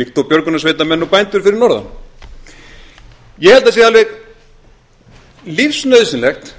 líkt og björgunarsveitarmenn og bændur fyrir norðan ég held að það sé alveg lífsnauðsynlegt